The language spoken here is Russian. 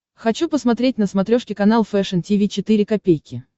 хочу посмотреть на смотрешке канал фэшн ти ви четыре ка